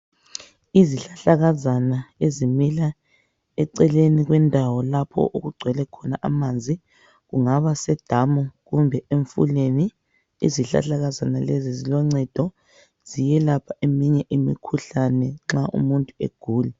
Izihlahlakazana ezimila eceleni kwendawo lapho okugcwele khona amanzi kungaba sedamu kumbe emfuleni izihlahlakazane lezi ziloncedo ziyelapha eminye imikhuhlane nxa umuntu egula.